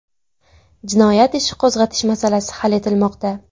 Jinoyat ishi qo‘zg‘atish masalasi hal etilmoqda.